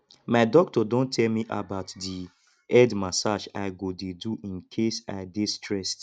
my doctor don tell me about the head massage i go dey do in case i dey stressed